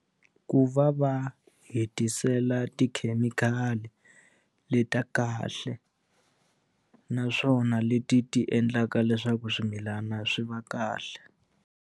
Ku va va hetisela tikhemikhali le ta kahle naswona leti ti endlaka leswaku swimilana swi va kahle.